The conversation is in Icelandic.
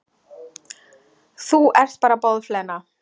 Þú ert bara boðflenna.